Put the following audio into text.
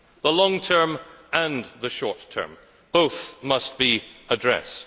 The long term and the short term both must be addressed.